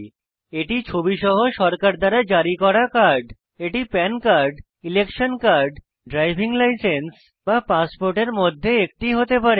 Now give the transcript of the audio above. এটি ছবি সহ সরকার দ্বারা জারি করা কার্ড এটি PAN card election card driving licence বা পাসপোর্ট মধ্যে একটি হতে পারে